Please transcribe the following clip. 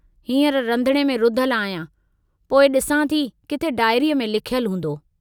हींअर रंधिणे में रुधल आहियां, पोइ ॾिसां थी किथे डायरीअ में लिखयलु हूंदो।